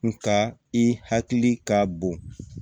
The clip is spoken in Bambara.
Nga i hakili ka bon